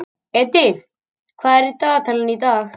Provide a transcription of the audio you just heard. Edil, hvað er á dagatalinu í dag?